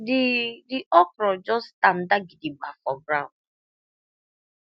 the the okro just tanda gidigba for ground